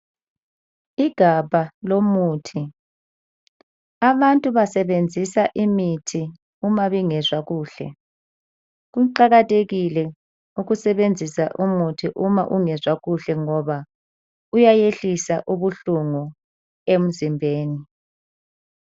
Igabha lomuthi. Abantu basebenzisa imithi uma bengezwa kuhle. Kuqakathekile ukusebenzisa umuthi uma ungezwa kuhle ngoba uyayehlisa ubuhlungu emzimbeni.